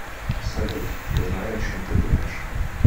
салют я знаю о чем ты думаешь